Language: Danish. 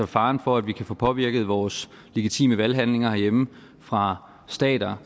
fare for at vi kan få påvirket vores legitime valghandlinger herhjemme fra staters